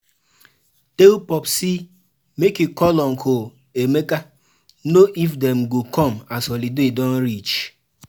Tell Popsi make e call uncle Emeka know if Dem go come as holiday don reach.